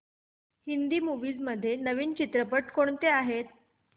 Hindi movies मध्ये नवीन चित्रपट कोणते आहेत